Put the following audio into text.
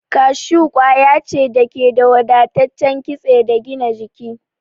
Kashu kwaya ce da ke da wadataccen kitse da gina jiki.